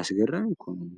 ያስገራን ይኮኑም።